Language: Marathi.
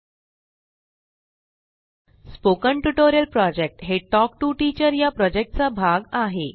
स्पोकन टयूटोरियल प्रोजेक्ट हे तल्क टीओ टीचर या प्रॉजेक्ट चा भाग आहे